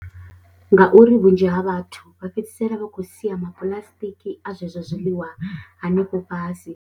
Ngauri vhunzhi ha vhathu vha fhedzisela vha khou sia mapuḽasitiki a zwezwo zwiḽiwa hanefho fhasi.